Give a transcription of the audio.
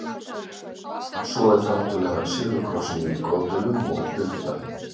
Svo er það náttúrlega silfurkrossinn í Goðdölum og huldubarnið.